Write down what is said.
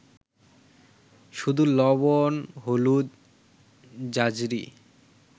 শুধু লবণ-হলুদ, ঝাঁঝরি